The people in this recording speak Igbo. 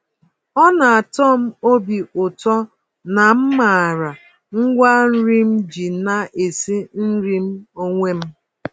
Ọna atọm obi ụtọ na m màrà ngwa-nri m ji na-esi nri m onwe m.